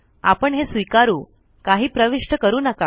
आपण हे स्वीकारू काही प्रविष्ट करू नका